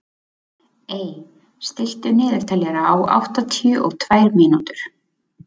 Ey, stilltu niðurteljara á áttatíu og tvær mínútur.